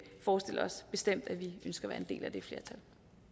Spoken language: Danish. forestiller os bestemt at vi skal være en del af det flertal